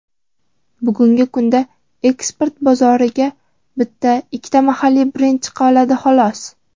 Bugungi kunda eksport bozoriga bitta-ikkita mahalliy brend chiqa oldi, xolos.